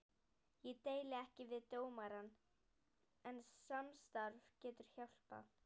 Ég deili ekki við dómarann, en samstarf getur hjálpað.